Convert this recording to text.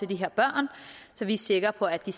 de her børn så vi er sikre på at de